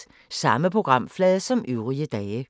Samme programflade som øvrige dage